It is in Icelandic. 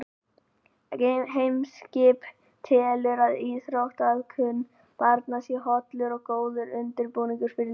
Eimskip telur að íþróttaiðkun barna sé hollur og góður undirbúningur fyrir lífið.